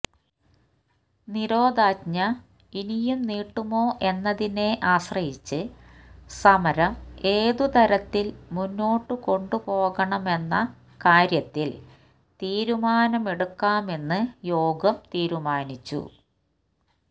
നിരോധനാജ്ഞ ഇനിയും നീട്ടുമോ എന്നതിനെ ആശ്രയിച്ച് സമരം ഏതു തരത്തില് മുന്നോട്ടുകൊണ്ടുപോകണമെന്ന കാര്യത്തില് തീരുമാനമെടുക്കാമെന്ന് യോഗം തീരുമാനിച്ചു